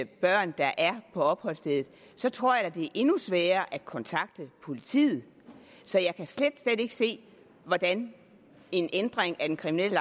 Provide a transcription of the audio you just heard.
børn der er på opholdsstedet tror jeg at det er endnu sværere at kontakte politiet så jeg kan slet slet ikke se hvordan en ændring af den kriminelle